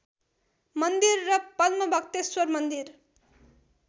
मन्दिर र पद्मभक्तेश्वर मन्दिर